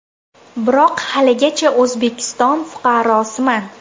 Biroq haligacha O‘zbekiston fuqarosiman.